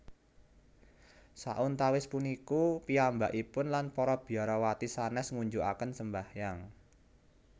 Sauntawis puniku piyambakipun lan para biarawati sanès ngunjukaken sembayangan